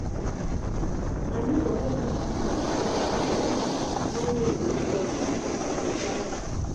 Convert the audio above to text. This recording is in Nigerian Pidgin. my nebor help me carry my cloth inside wen rain dey fall we be family.